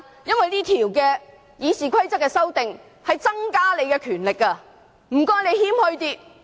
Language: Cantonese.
修訂《議事規則》會增加你的權力，但請你謙虛一點。